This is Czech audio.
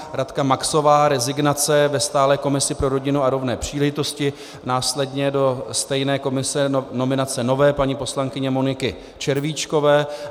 Radka Maxová, rezignace ve stálé komisi pro rodinu a rovné příležitosti, následně do stejné komise nominace nové paní poslankyně Moniky Červíčkové.